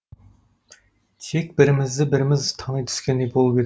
тек бірімізді біріміз тани түскендей болып едік